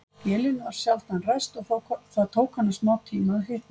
Vélin var sjaldan ræst og það tók hana smátíma að hitna.